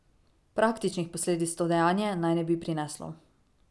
Praktičnih posledic to dejanje naj ne bi prineslo.